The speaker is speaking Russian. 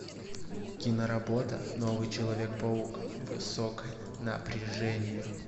киноработа новый человек паук высокое напряжение